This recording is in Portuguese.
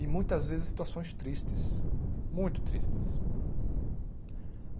E muitas vezes situações tristes, muito tristes.